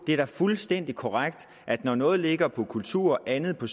er da fuldstændig korrekt at når noget ligger på kulturområdet andet på